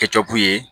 Kɛcɔku ye